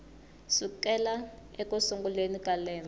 sukela eku sunguleni ka lembe